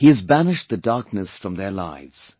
He has banished the darkness from their lives